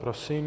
Prosím.